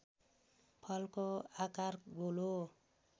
फलको आकार गोलो